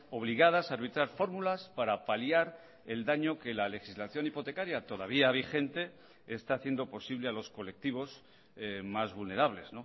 obligadas a arbitrar fórmulas para paliar el daño que la legislación hipotecaria todavía vigente está haciendo posible a los colectivos más vulnerables